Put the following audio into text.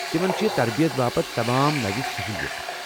تمن چھِ تربیت باپتھ تمام نٕوِ سہولیَتہٕ ۔